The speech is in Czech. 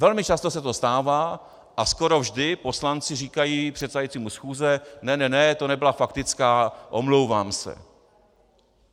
Velmi často se to stává a skoro vždy poslanci říkají předsedajícímu schůze: Ne, ne, ne, to nebyla faktická, omlouvám se.